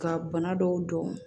Ka bana dɔw dɔn